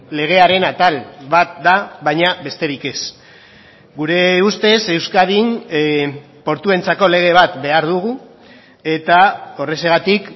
legearen atal bat da baina besterik ez gure ustez euskadin portuentzako lege bat behar dugu eta horrexegatik